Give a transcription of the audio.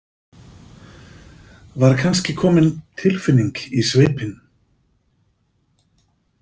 Var kannski komin tilfinning í svipinn?